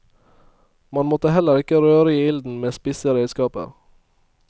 Man måtte heller ikke røre i ilden med spisse redskaper.